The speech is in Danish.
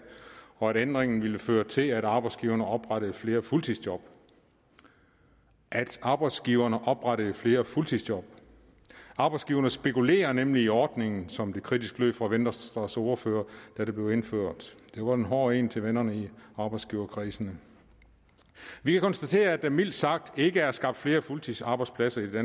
og at ændringen ville føre til at arbejdsgiverne oprettede flere fuldtidsjob at arbejdsgiverne oprettede flere fuldtidsjob arbejdsgiverne spekulerer nemlig i ordningen som det kritisk lød fra venstres første ordfører da det blev indført det var en hård en til vennerne i arbejdsgiverkredsen vi kan konstatere at der mildt sagt ikke er skabt flere fuldtidsarbejdspladser i det